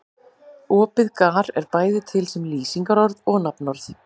Orðið gar er bæði til sem lýsingarorð og nafnorð.